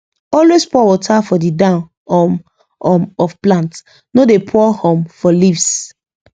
always pour water for the down um um of plant no dey pour um for leaves